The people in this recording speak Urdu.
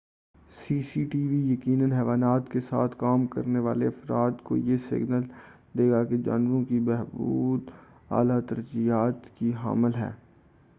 سی سی ٹی وی یقیناً حیوانات کے ساتھ کام کرنے والے افراد کو یہ سگنل دے گا کہ جانوروں کی بہبود اعلیٰ ترجیح کی حامل ہے